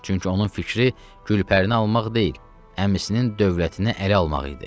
Çünki onun fikri Gülpərini almaq deyil, əmisinin dövlətini ələ almaq idi.